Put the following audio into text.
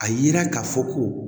A yira ka fɔ ko